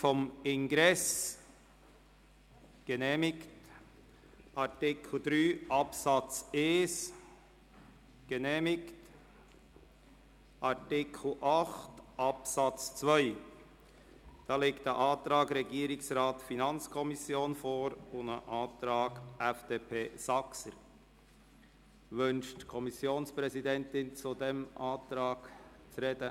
Zu Artikel 8 Absatz 2 liegt ein Antrag des Regierungsrats und der FiKo vor sowie ein Antrag FDP/Saxer. Wünscht die Kommissionsvizepräsidentin, sich zum Antrag zu äussern?